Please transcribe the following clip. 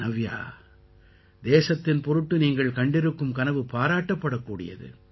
நவ்யா தேசத்தின் பொருட்டு நீங்கள் கண்டிருக்கும் கனவு பாராட்டப்படக்கூடியது